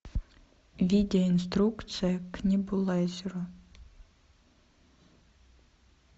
видео инструкция к небулайзеру